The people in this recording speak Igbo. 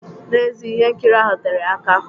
N'ezie, ihe nkiri ahụ tere aka.